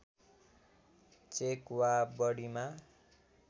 check वा बढीमा